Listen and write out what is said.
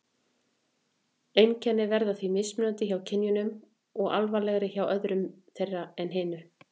Einkennin verða því mismunandi hjá kynjunum og alvarlegri hjá öðru þeirra en hinu.